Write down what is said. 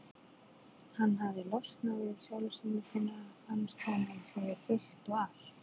Hann hafði losnað við sjálfsímyndina, fannst honum, fyrir fullt og allt.